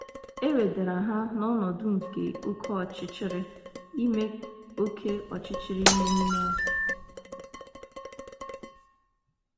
E wedara ha n’ọnọdụ nke oké ọchịchịrị ime oké ọchịchịrị ime mmụọ.